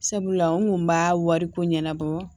Sabula n kun b'a wariko ɲɛnabɔ